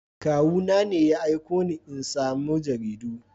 Kawuna ne ya aiko ni in samo jaridu.